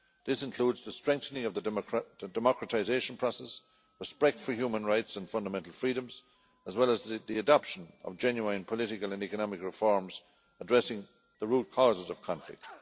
This includes the strengthening of the democratisation process, respect for human rights and fundamental freedoms, as well as the adoption of genuine political and economic reforms addressing the root causes of conflict.